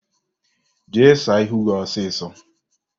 Jee saa ahụ gị ọsọọsọ!